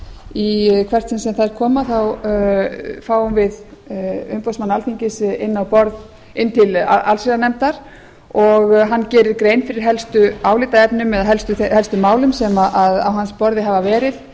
í hvert sinn sem þær koma fáum við umboðsmann alþingis inn til allsherjarnefndar og hann gerir grein fyrir helstu álitaefnum eða helst málum sem á hans borði hafa verið